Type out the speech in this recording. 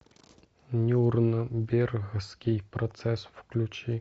нюрнбергский процесс включи